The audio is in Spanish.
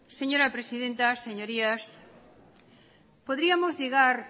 señora presidenta señorías podríamos llegar